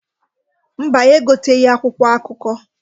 Mba, anyị egoteghi akwụkwọ akụkọ.